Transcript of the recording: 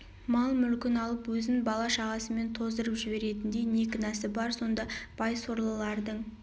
мал-мүлкін алып өзін бала-шағасымен тоздырып жіберетіндей не кінәсі бар сонда бай сорлылардың